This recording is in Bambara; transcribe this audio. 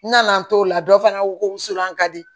N nana n t'o la dɔ fana ko wusulan ka di